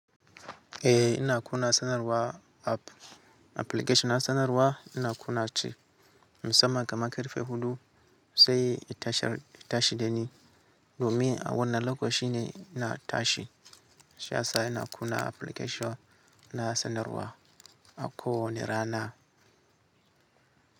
Eh ina kuna sanarwa app application na sanarwa ina kuna shi musaman kaman karfe huɗu sai ya tashi da ni domin a wannan lokacin ne ina tashi. Sa'a ina kuna application na sanarwa a ko wane rana.